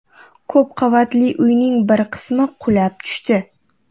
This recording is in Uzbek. Ko‘p qavatli uyning bir qismi qulab tushdi.